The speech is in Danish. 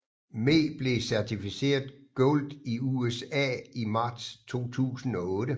Me blev certificeret Gold i USA i marts 2008